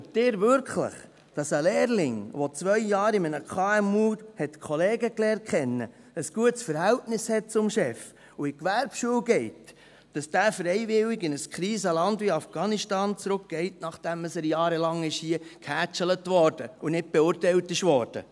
Glauben Sie wirklich, dass ein Lehrling, der zwei Jahre in einem KMU Kollegen kennengelernt hat, ein gutes Verhältnis zum Chef hat und in die Gewerbeschule geht, dass dieser freiwillig in ein Krisenland wie Afghanistan zurückgeht, nachdem er jahrelang hier gehätschelt wurde und nicht beurteilt wurde?